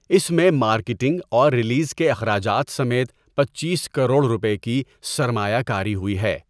اس میں مارکیٹنگ اور ریلیز کے اخراجات سمیت پنچیس کروڑ روپے کی سرمایہ کاری ہوئی ہے۔